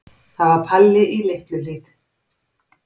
Það var Palli í Litlu-Hlíð.